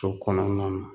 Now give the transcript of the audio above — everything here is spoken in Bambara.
So kɔnɔna na